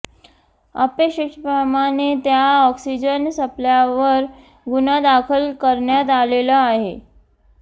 अपेक्षेप्रमाणे त्या ऑक्सिजन सप्लायरवर गुन्हा दाखल करण्यात आलेला आहे